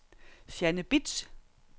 Jeanne Bitsch